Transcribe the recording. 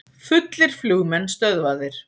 Fullir flugmenn stöðvaðir